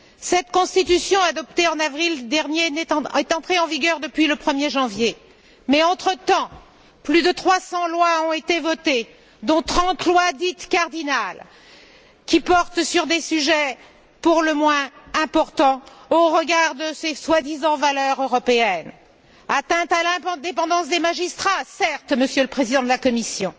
Cette Constitution, adoptée en avril dernier, est entrée en vigueur depuis le 1er janvier, mais, entre temps, plus de trois cents lois ont été votées, dont trente lois dites cardinales qui portent sur des sujets pour le moins importants, au regard de ces soi disant valeurs européennes atteinte à l'indépendance des magistrats, certes, Monsieur le Président de la Commission,